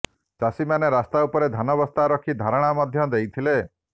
ଚାଷୀମାନେ ରାସ୍ତା ଉପରେ ଧାନ ବସ୍ତା ରଖି ଧାରଣା ମଧ୍ୟ ଦେଇଥିଲେ